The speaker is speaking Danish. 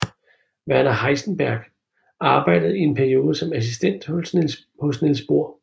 Werner Heisenberg arbejdede i en periode som assistent hos Niels Bohr